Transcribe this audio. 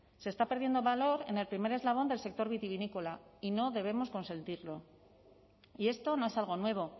se está perdiendo valor en el primer eslabón del sector vitivinícola y no debemos consentirlo y esto no es algo nuevo